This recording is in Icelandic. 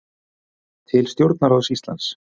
Til stjórnarráðs Íslands